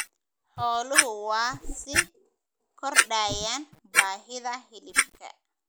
Xooluhu waa sii kordhayaan baahida hilibka.